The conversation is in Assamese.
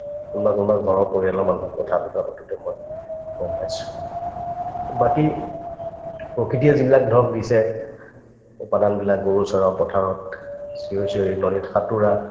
কোনোবা কোনোবা ঘৰৰ পৰিয়ালৰ মানুহৰ কথা-বতৰা পাতোতে মই গম পাইছো বাকি প্ৰকৃতিয়ে যিবিলাক ধৰক দিছে এই গৰু চৰাও পথাৰত চিঞৰি চিঞৰি নদীত সাঁতোৰা